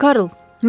Karl.